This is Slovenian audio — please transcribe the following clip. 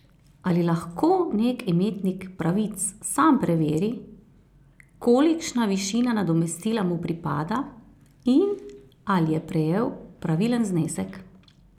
Ali lahko nek imetnik pravic sam preveri, kolikšna višina nadomestila mu pripada in ali je prejel pravilen znesek?